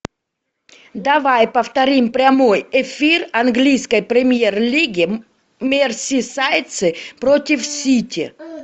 давай повторим прямой эфир английской премьер лиги мерсисайдцы против сити